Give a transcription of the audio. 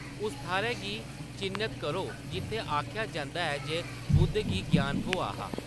उस थाह्‌‌‌रै गी चि'न्नत करो जित्थै आखेआ जंदा ऐ जे बुद्ध गी ग्यान थ्होआ हा।